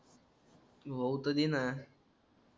होऊ तर देना